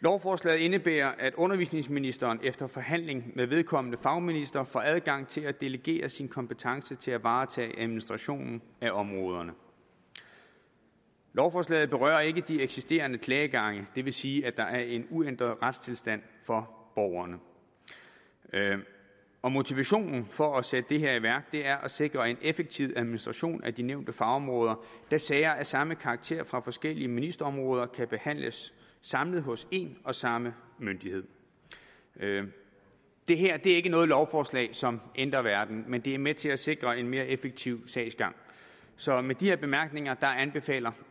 lovforslaget indebærer at undervisningsministeren efter forhandling med vedkommende fagminister får adgang til at delegere sin kompetence til at varetage administrationen af områderne lovforslaget berører ikke de eksisterende klagegange det vil sige at der er en uændret retstilstand for borgerne og motivationen for at sætte det her i værk er at sikre en effektiv administration af de nævnte fagområder da sager af samme karakter fra forskellige ministerområder kan behandles samlet hos en og samme myndighed det her er ikke noget lovforslag som ændrer verden men det er med til at sikre en mere effektiv sagsgang så med de her bemærkninger anbefaler